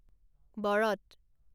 বৰত